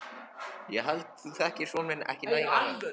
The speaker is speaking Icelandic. Ég held þú þekkir son þinn ekki nægilega vel.